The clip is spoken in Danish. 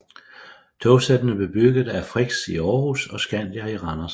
Togsættene blev bygget af Frichs i Århus og Scandia i Randers